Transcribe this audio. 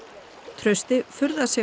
trausti furðar sig